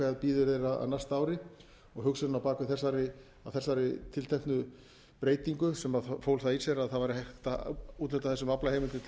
bíður þeirra á næsta ári hugsunin á bak við þessari tilteknu breytingu sem fól það í sér að það var hægt að úthluta þessum aflaheimildum til allt